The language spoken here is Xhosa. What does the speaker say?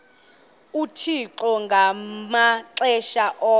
uthixo ngamaxesha onke